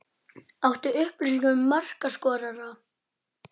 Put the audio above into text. Þangað hafði hún því ekki komið undanfarin sex ár.